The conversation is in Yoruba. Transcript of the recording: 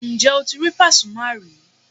Ǹjẹ́ o ti rí Pàsúmà rí?